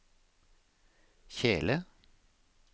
kjele